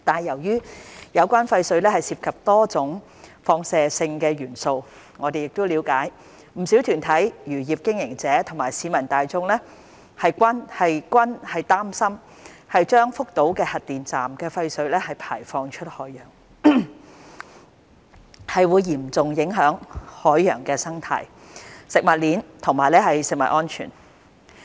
由於有關廢水涉及多種放射性元素，我們了解不少團體、漁業經營者和市民大眾均擔心將福島核電站的廢水排放出海洋，會嚴重影響海洋生態、食物鏈以至食物安全。